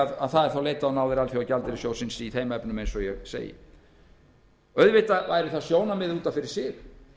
af það er þá leitað á náðir alþjóðagjaldeyrissjóðsins í þeim efnum auðvitað væri það sjónarmið út af fyrir sig